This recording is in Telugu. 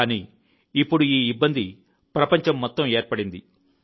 కానీ ఇప్పుడు ఈ ఇబ్బంది ప్రపంచం మొత్తం ఏర్పడింది